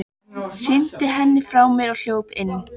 Hrinti henni frá mér og hljóp inn.